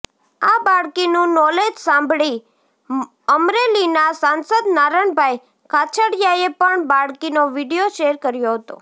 આ બાળકીનું નોલેજ સાંભળી અમરેલીના સાંસદ નારણભાઇ કાછડિયાએ પણ બાળકીનો વીડિયો શેર કર્યો હતો